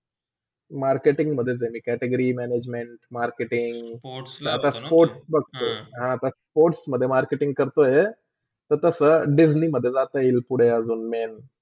marketing मधेच आहे मी category, management, marketing sports, sports बघतो आता sports मधे marketing करतोय. त तसा पुडे डिस्नेमधे जाता येईल ते पुडे अजून main